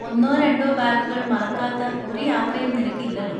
ഒന്നോ രണ്ടോ ബാഗുകൾ മറക്കാത്ത ഒരു യാത്രയും നിനക്കില്ലല്ലോ.